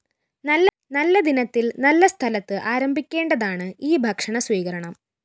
നല്ല ദിനത്തില്‍ നല്ല സ്ഥലത്ത് ആരംഭിക്കേണ്ടതാണ് ഈ ഭക്ഷണ സ്വീകരണം